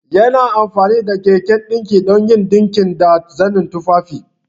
Yana amfani da keken dinki don yin dinki da zanen tufafi.